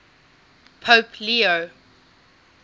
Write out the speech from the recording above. pope leo